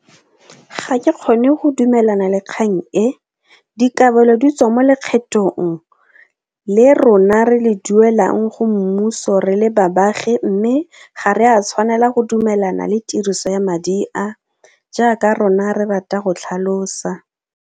Ga ke kgone go dumelana le kgang e dikabelo di tswa mo lekgethong le rona re le duelang go mmuso re le babagi mme ga re a tshwanela go dumelana le tiriso ya madi a jaaka rona re rata go tlhalosa.